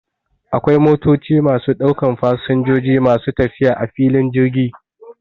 Akwai motoci masu ɗaukan fasinjoji masu tafiya a filin jirgi